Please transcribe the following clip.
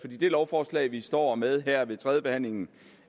det lovforslag vi står med her ved tredjebehandlingen